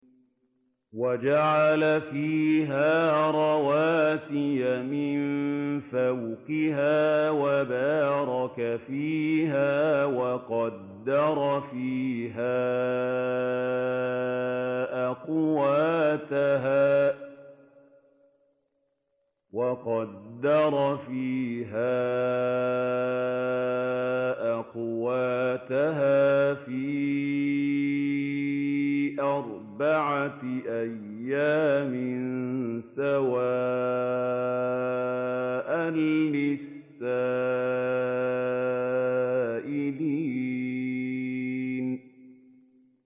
وَجَعَلَ فِيهَا رَوَاسِيَ مِن فَوْقِهَا وَبَارَكَ فِيهَا وَقَدَّرَ فِيهَا أَقْوَاتَهَا فِي أَرْبَعَةِ أَيَّامٍ سَوَاءً لِّلسَّائِلِينَ